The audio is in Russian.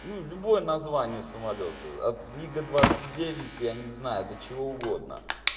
ну любое название самолёта от мига двадцать девять я не знаю до чего угодно